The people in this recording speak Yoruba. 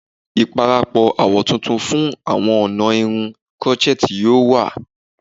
Iparapọ awọ tuntun fun awọn ọna irun crochet yoo wa